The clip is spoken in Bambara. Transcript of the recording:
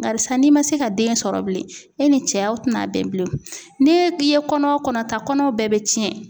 Barisa n'i ma se ka den sɔrɔ bilen, e ni cɛ aw tɛna bɛn bilen, n'i e ye kɔnɔ o kɔnɔ ta kɔnɔw bɛɛ bɛ tiɲɛ.